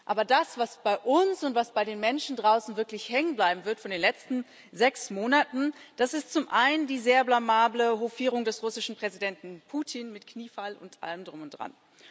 Aber das, was bei uns und was bei den Menschen draußen wirklich hängen bleiben wird von den letzten sechs Monaten, das ist zum einen die sehr blamable Hofierung des russischen Präsidenten Putin mit Kniefall und allem Drum und Dran.